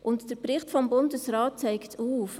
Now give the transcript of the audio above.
Der Bericht des Bundesrates zeigt es auf.